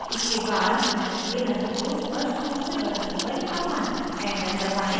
इसके बाद line के रंग को स्पष्ट रूप से बताने वाली command enter दबाएं